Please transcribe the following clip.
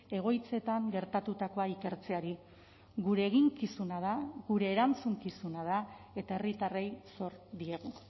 egoitzetan gertatutakoa ikertzeari gure eginkizuna da gure erantzukizuna da eta herritarrei zor diegu